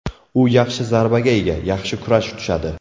U yaxshi zarbaga ega, yaxshi kurash tushadi.